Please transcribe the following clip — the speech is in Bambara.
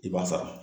I b'a sara